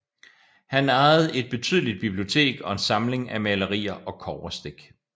Han ejede et betydeligt bibliotek og en samling af malerier og kobberstik